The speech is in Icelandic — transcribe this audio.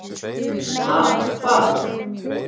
Ha, hvað?